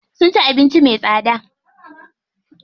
Sun ci abinci me tsada.